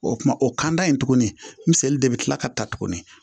O kuma o kan da in tuguni misɛni de bɛ kila ka ta tugun